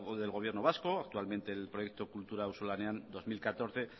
del gobierno vasco actualmente el proyecto kultura auzolanean dos mil catorce